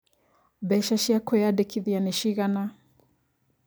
Mbeca cia kwĩyandĩkithia nĩ cigana?